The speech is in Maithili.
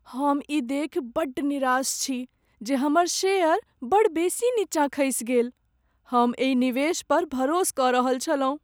हम ई देखि बड्ड निराश छी जे हमर शेयर बड़ बेसी नीचाँ खसि गेल। हम एहि निवेश पर भरोस कऽ रहल छलहुँ।